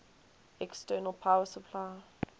external power supply